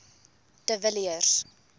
de villiers